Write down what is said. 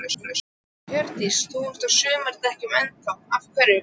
Hjördís: Þú ert á sumardekkjunum enn þá, af hverju?